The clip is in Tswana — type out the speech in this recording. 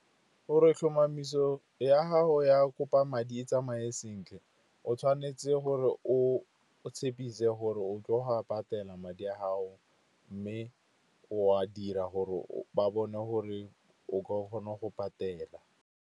Gore tlhomamiso ya gago ya kopa madi e tsamaye sentle, o tshwanetse gore o tshepisa gore o tlo wa patela madi a gago, mme o a dira gore ba bone gore o tlo kgona go patela.